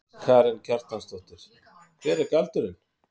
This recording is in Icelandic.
Karen Kjartansdóttir: Hver er galdurinn?